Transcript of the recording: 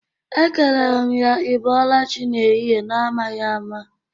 Ekelere m ya 'Ị bọlachi' n'ehihi na-amaghi ama.